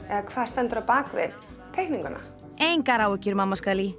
eða hvað stendur á bak við teikninguna engar áhyggjur mamma